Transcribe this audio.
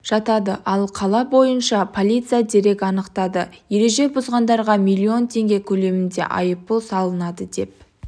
жатады ал қала бойынша полиция дерек анықтады ереже бұзғандарға миллион теңге көлемінде айыппұл салынды деп